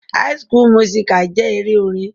High school musical jẹ́ eré orin.